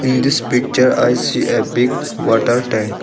In this picture I see a big water tank.